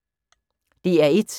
DR1